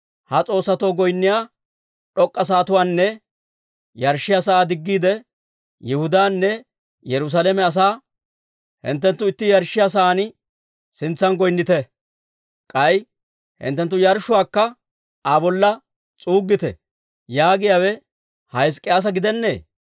Ha s'oossatoo goynniyaa d'ok'k'a sa'atuwaanne yarshshiyaa sa'aa diggiide, Yihudaanne Yerusaalame asaa, «Hinttenttu itti yarshshiyaa sa'aa sintsan goynnite; k'ay hinttenttu yarshshuwaakka Aa bolla s'uuggite» yaagiyaawe ha Hizk'k'iyaasa gidennee?